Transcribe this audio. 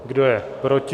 Kdo je proti?